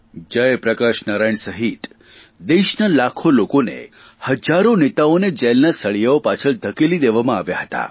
જયપ્રકાશ નારાયણ સહિત દેશના લાખો લોકોને હજારો નેતાઓને જેલના સળિયા પાછળ ધકેલી દેવામાં આવ્યા હતા